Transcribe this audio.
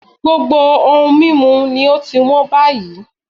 Gbogbo ohun mímu ni ó ti hán báyìí